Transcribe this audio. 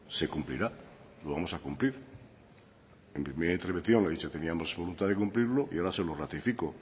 se cumplirá lo vamos a cumplir en mi primera intervención le he dicho que teníamos voluntad de cumplirlo y ahora se lo ratifico